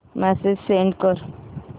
message send कर